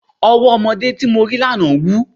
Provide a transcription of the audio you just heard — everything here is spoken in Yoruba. Ọwọ́ ọmọdé tí mo rí lánàá wú.